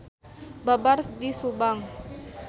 Babar di Subang.